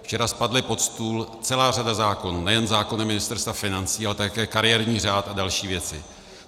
Včera spadla pod stůl celá řada zákonů, nejen zákony Ministerstva financí, ale také kariérní řád a další věci.